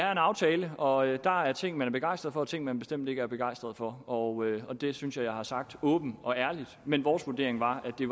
aftale og der er ting man er begejstret for og ting man bestemt ikke er begejstret for og og det synes jeg jeg har sagt åbent og ærligt men vores vurdering var at det